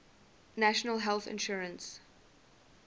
national health insurance